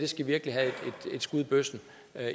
skal virkelig have et skud i bøssen